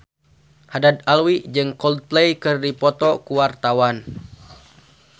Haddad Alwi jeung Coldplay keur dipoto ku wartawan